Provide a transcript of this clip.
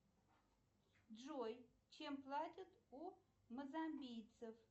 джой чем платят у мозамбийцев